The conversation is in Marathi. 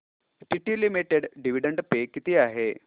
टीटी लिमिटेड डिविडंड पे किती आहे